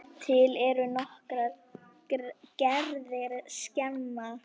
Til eru nokkrar gerðir skema.